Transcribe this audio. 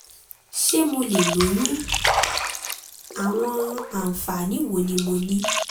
ṣé mo lè lóyún? àwọn àǹfààní wo ni mo ní?